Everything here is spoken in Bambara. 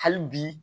Hali bi